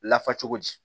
Lafa cogo di